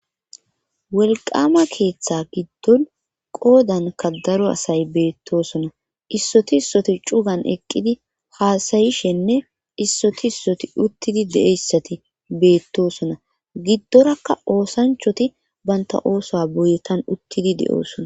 Welqama keeththa giddon qoodanka daro asay beettosona issoti issoti cugan eqqidi haasayishenne issoti issoti uttidi de7eyssati beettosona giddorakka oosanchoti baynta ooso boyetan uttidi de7oosona.